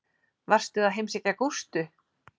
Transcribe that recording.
Varstu að heimsækja Gústu?